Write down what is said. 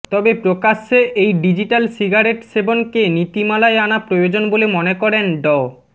তবে প্রকাশ্যে এই ডিজিটাল সিগারেট সেবনকে নীতিমালায় আনা প্রয়োজন বলে মনে করেন ড